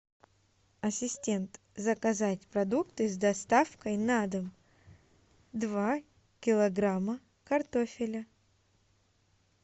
ассистент заказать продукты с доставкой на дом два килограмма картофеля